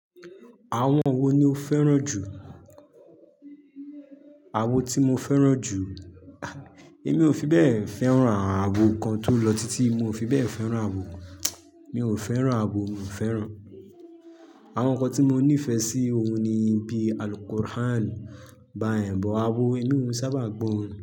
Àwọn wo ni o fẹ́ràn jù? Àwo tí mo fẹ́ràn jù? É mi ò fi bẹ́ẹ̀ fẹ́ràn àwo kan tó lọ títí, mi ò fi bẹ́ẹ̀ fẹ́ràn àwo. Mi ò fẹ́ràn àwo, mi ò fẹ́ràn. Àwọn nǹkan tí mo nífẹ̀ẹ́ sí òhun ni bíi Al Quran báyẹn bọ̀ àwọn orin núu mi òún sábà gbọ́ orin.